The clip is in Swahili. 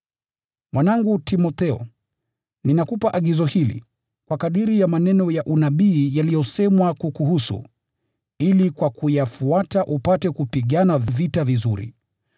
Mwanangu Timotheo, ninakupa agizo hili, kwa kadiri ya maneno ya unabii yaliyosemwa kukuhusu, ili kwa kuyafuata upate kupigana vita vizuri,